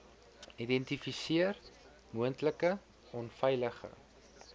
identifiseer moontlike onveilige